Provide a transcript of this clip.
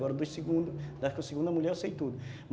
Agora dos segundos, da segunda mulher eu sei todos.